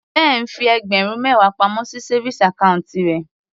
Ben fi ẹgbẹ̀rún mẹwa pamọ́ sí savings account rẹ̀.